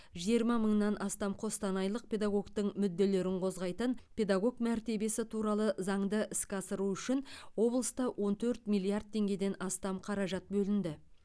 жиырма мыңнан астам қостанайлық педагогтың мүдделерін қозғайтын педагог мәртебесі туралы заңды іске асыру үшін облыста он төрт миллиард теңгеден астам қаражат бөлінді